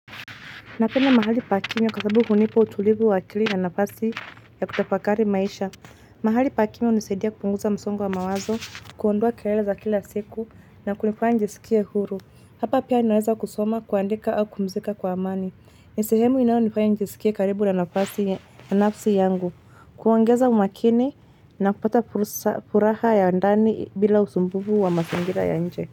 Napenda mahali pa kimya kwa sasabu hunipa utulivu wa akili na nafasi ya kutafakari maisha. Mahali pa kimya hunisadia kupunguza msongo wa mawazo, kuondoa kelele za kila siku na kunifanya njisikie huru. Hapa pia ninaweza kusoma, kuandika au kupumzika kwa amani. Ni sehemu inayonifanya njisikie karibu na nafsi yangu, kuongeza umakini na kupata furaha ya ndani bila usumbufu wa mazingira ya nje.